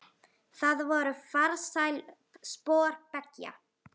Það voru farsæl spor beggja.